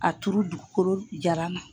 A turu dugukolo jaran na.